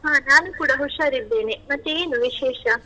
ಹಾ, ನಾನೂ ಕೂಡ ಹುಷಾರಿದ್ದೇನೆ, ಮತ್ತೆ ಏನು ವಿಶೇಷ?